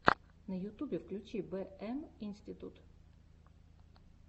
на ютубе включи бэ эм институт